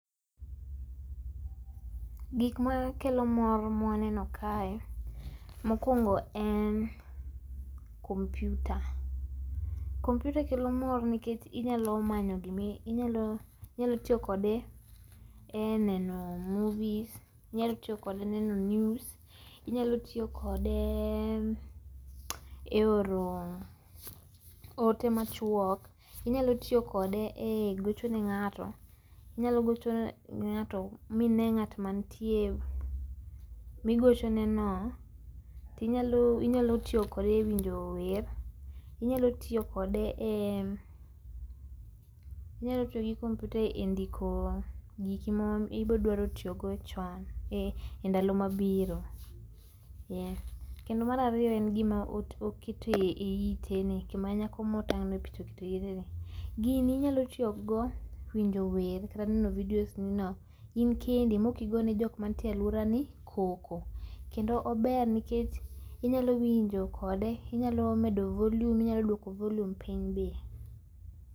Gik makelo mor mwaneno kae. Mokuongo en kompyuta, kompyuta kelo mor nikech inyalo manyo gimi, inyalo.. inyalo tiyokode ee neno movies, inyalo tiyokode neno news, inyalo tiyo kode e oro ote machuok, inyalo tiyo kode e gocho ne ng’ato, inyalo gochone ng’ato, mine ng’at mantie migochoneno, tinyalo tiyo kode ewinjo wer, inyalo tiyo kode eee, inyalo tiyogi kompyuta endiko giki mibodwaro tiyogo chon, e. endalo mabiro. Kendo mar ariyo, en gima oketo eiteni, gima nyako motang’ e picha oketo eiteni, gini inyalo tiyogo ewinjo wer kata neno videos nino inkendi mokigone jomanitie ee aluorani koko, kendo ober nikech inyalo winjo kode, inyalo medo volume, inyalo duoko volume piny be